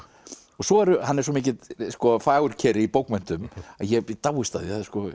og svo eru hann er svo mikill fagurkeri í bókmenntum ég dáist að því